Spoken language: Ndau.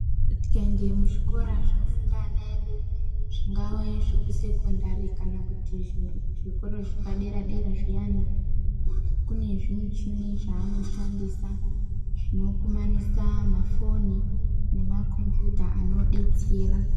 Tikaende muzvikora zvinofunda ana edu zvingave zvekusekondari kana kuti zvikoro zvepadera-dera zviyani. Kune zvimichini zvanoshandisa zvinokumanisa mafoni nemakombiyuta anobetsera.